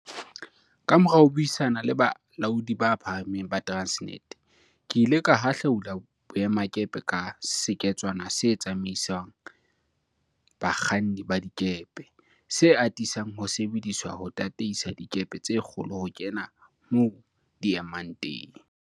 Kamora ho buisana le balaodi ba phahameng ba Transnet, ke ile ka hahlaula boemakepe ka seketswana se tsamaisang ba kganni ba dikepe, se atisang ho sebediswa ho tataisa dikepe tse kgolo ho kena moo di emang teng.